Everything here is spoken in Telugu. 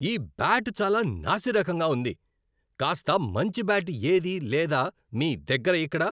ఈ బ్యాట్ చాలా నాసిరకంగా ఉంది. కాస్త మంచి బ్యాట్ ఏదీ లేదా మీ దగ్గర ఇక్కడ?